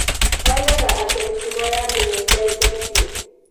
Oigaga atĩ mĩtugo ya andũ nĩ ĩcenjetie.